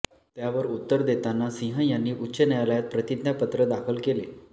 त्यावर उत्तर देताना सिंह यांनी उच्च न्यायालयात प्रतिज्ञापत्र दाखल केले